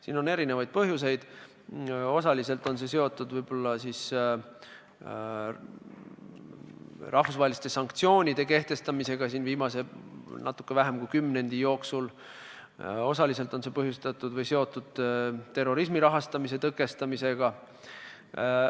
Sel on erinevaid põhjuseid, osaliselt on see võib-olla seotud rahvusvaheliste sanktsioonidega, mis on kehtestatud natuke vähema kui viimase kümne aasta jooksul, ja osaliselt on see seotud terrorismi rahastamise tõkestamisega.